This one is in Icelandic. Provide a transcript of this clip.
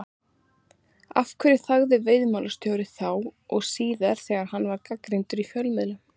Af hverju þagði veiðimálastjóri, þá og síðar, þegar hann var gagnrýndur í fjölmiðlum?